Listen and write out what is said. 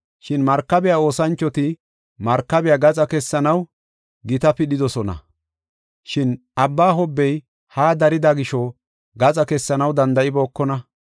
Shin markabiya oosanchoti markabiya gaxa kessanaw gita pidhidosona. Shin abba hobbey haa darida gisho gaxa kessanaw danda7ibookona.